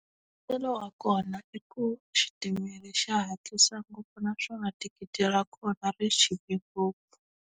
Mbuyelo wa kona i ku xitimela xa hatlisa ngopfu naswona thikithi ra kona ri chipe ngopfu.